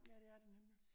Ja det er det nemlig